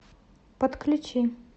подключи